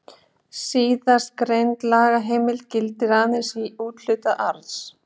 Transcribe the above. Síðastgreind lagaheimild gildir aðeins um úthlutun arðs.